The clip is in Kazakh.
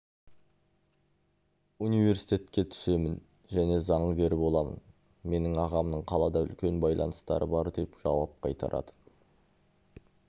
университетке түсемін және заңгер боламын менің ағамның қалада үлкен байланыстары бар деп жауап қайтарады